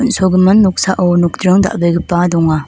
on·sogimin noksao nokdring dal·begipa donga.